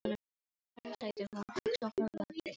Ó, sagði hún hugsi og horfði á drenginn sinn.